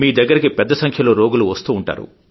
మీ దగ్గరికి పెద్దసంఖ్యలో రోగులు వస్తూ